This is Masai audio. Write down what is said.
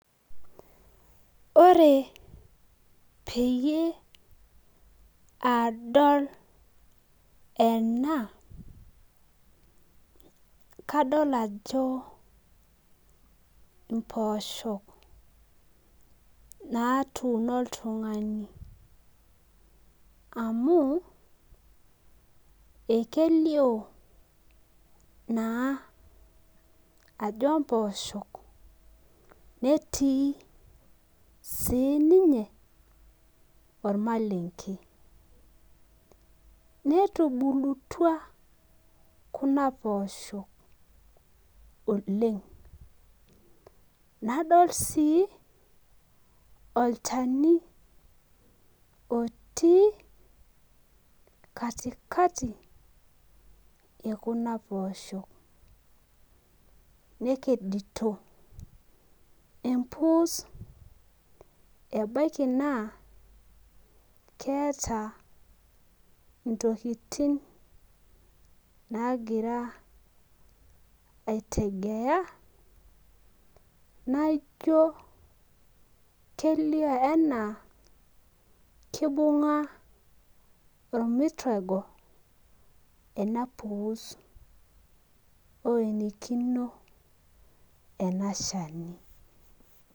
Ore peyie adol ena kadol ajo imposho natuuno oltungani amuekelio naa ajo mpoosho netii sininye ormalenke netubulutua kuna poosho nadol sii olchani otii katikati ekuna poosho nekedito empuus ebaki naa keeta intokitin nagira aitegea naijo kelio anaa kibunga ormutego enapuss oenikino enashani